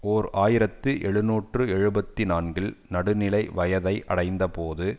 ஓர் ஆயிரத்தி எழுநூற்று எழுபத்தி நான்கில் நடுநிலை வயதை அடைந்தபோது